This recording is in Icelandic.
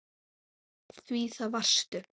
Því það varstu.